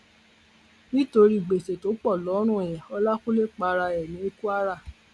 nítorí gbèsè tó pọ lọrùn ẹ ọlákúnlẹ para ẹ ní kwara